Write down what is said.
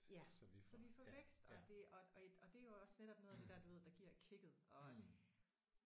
Ja så vi får vækst og det og og og det er jo også netop noget af det der du ved der giver kicket og